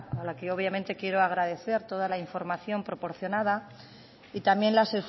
a la que obviamente quiero agradecer toda la información proporcionada y también las